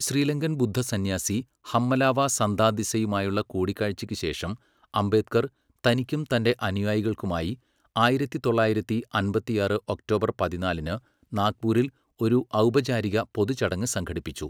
ശ്രീലങ്കൻ ബുദ്ധസന്യാസി ഹമ്മലാവ സദ്ധാതിസ്സയുമായുള്ള കൂടിക്കാഴ്ചയ്ക്ക് ശേഷം, അംബേദ്കർ തനിക്കും തന്റെ അനുയായികൾക്കുമായി ആയിരത്തി തൊള്ളായിരത്തി അമ്പത്തിയാറ് ഒക്ടോബർ പതിനാലിന് നാഗ്പൂരിൽ ഒരു ഔപചാരിക പൊതുചടങ്ങ് സംഘടിപ്പിച്ചു.